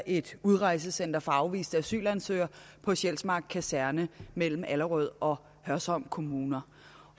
et udrejsecenter for afviste asylansøgere på sjælsmark kaserne mellem allerød og hørsholm kommuner